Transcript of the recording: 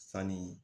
Sanni